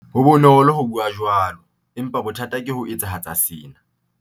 Ho bonolo ho bua jwalo, empa bothata ke ho etsahatsa sena.